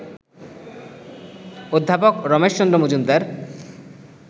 অধ্যাপক রমেশচন্দ্র মজুমদার